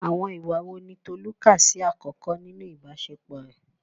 Àwọn ìwà wo ni Tolu kà sí àkọ́kọ́ nínú ìbáṣepọ̀ rẹ̀?